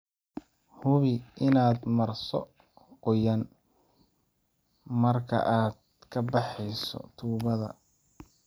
Hubi inaad marso qoyaan marka aad ka baxayso tubbada.